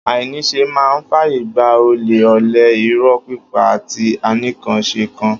Ainísẹ mà ń fàyé gbà òlẹ, ọlẹ, ìró pípà àtí ànikànsẹkàn.